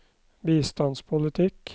bistandspolitikk